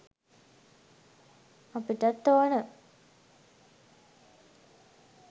අපිටත් ඕනා